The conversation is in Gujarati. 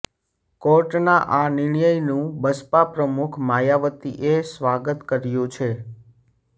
કોર્ટના આ નિર્ણયનું બસપા પ્રમુખ માયાવતીએ સ્વાગત કર્યું છે